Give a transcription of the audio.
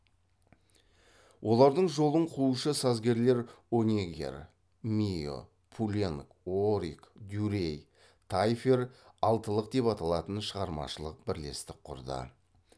олардың жолын қуушы сазгерлер онеггер мийо пуленк орик дюрей тайфер алтылық деп аталатын шығармашылық бірлестік құрды